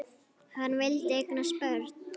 Hann vildi eignast börn.